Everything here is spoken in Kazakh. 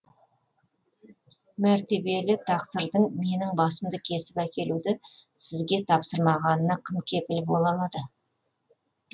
мәртебелі тақсырдың менің басымды кесіп әкелуді сізге тапсырмағанына кім кепіл бола алады